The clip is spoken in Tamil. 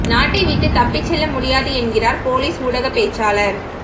நாட்டை விட்டு தப்பிச் செல்ல முடியாது என்கிறார் பொலிஸ் ஊடகப் பேச்சாளர்